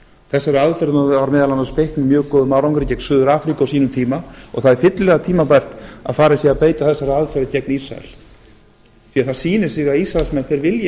þessari aðferð var meðal annars beitt með mjög góðum árangri gegn suður afríku á sínum tíma og það er fyllilega tímabært að farið sé að beita þessari aðferð gegn ísrael því það sýnir sig að ísraelsmenn vilja